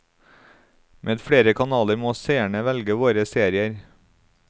Med flere kanaler må seerne velge våre serier.